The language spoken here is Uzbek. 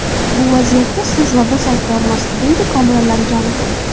Bu vaziyatga siz va biz aybdormiz”, deydi Komil Allamjonov.